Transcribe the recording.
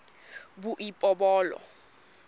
boipobolo